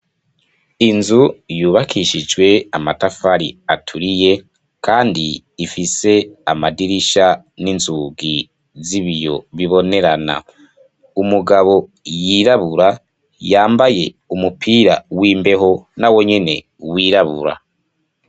Inzu yubakishijwe amatafari aturiye kandi ifise amadirisha n'inzugi z'ibiyo bibonerana, umugabo yirabura yambaye umupira w'imbeho nawo nyene wirabura.